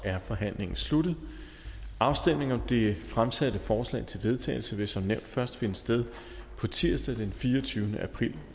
er forhandlingen sluttet afstemning om det fremsatte forslag til vedtagelse vil som nævnt først finde sted på tirsdag den fireogtyvende april